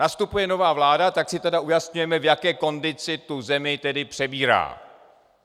Nastupuje nová vláda, tak si tedy ujasněme, v jaké kondici tu zemi tedy přebírá.